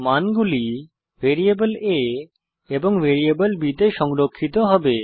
মান গুলি variable a এবং ভ্যারিয়েবল b তে সংরক্ষিত হবে